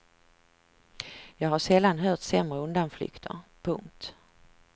Jag har sällan hört sämre undanflykter. punkt